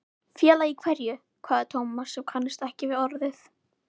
Félagi í hverju? hváði Thomas sem kannaðist ekki við orðið.